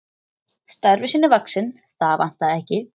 Starfi sínu vaxinn, það vantaði ekki.